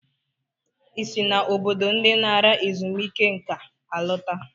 Ị si na obodo ndị nara ezumike nka alọta?